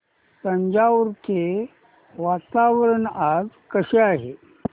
तंजावुर चे वातावरण आज कसे आहे